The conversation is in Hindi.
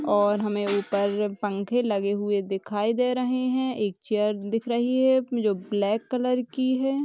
और हमें ऊपर पंखे लगे हुए दिखाई दे रहे हैं। एक चेयर दिख रही है जो ब्लैक कलर की है।